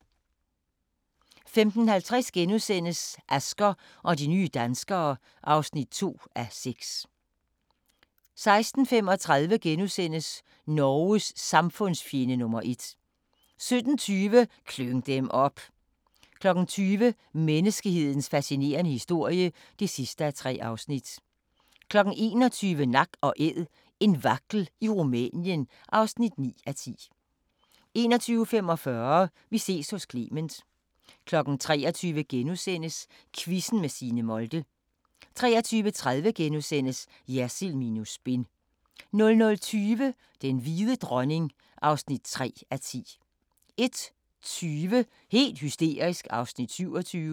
15:50: Asger og de nye danskere (2:6)* 16:35: Norges samfundsfjende nr. 1 * 17:20: Klyng dem op! 20:00: Menneskets fascinerende historie (3:3) 21:00: Nak & Æd – en vagtel i Rumænien (9:10) 21:45: Vi ses hos Clement 23:00: Quizzen med Signe Molde * 23:30: Jersild minus spin * 00:20: Den hvide dronning (3:10) 01:20: Helt hysterisk (27:32)